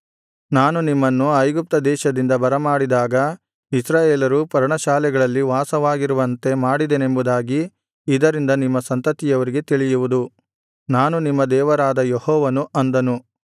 ನಾನು ನಿಮ್ಮನ್ನು ಐಗುಪ್ತ ದೇಶದಿಂದ ಬರಮಾಡಿದಾಗ ಇಸ್ರಾಯೇಲರು ಪರ್ಣಶಾಲೆಗಳಲ್ಲಿ ವಾಸವಾಗಿರುವಂತೆ ಮಾಡಿದೆನೆಂಬುದಾಗಿ ಇದರಿಂದ ನಿಮ್ಮ ಸಂತತಿಯವರಿಗೆ ತಿಳಿಯುವುದು ನಾನು ನಿಮ್ಮ ದೇವರಾದ ಯೆಹೋವನು ಅಂದನು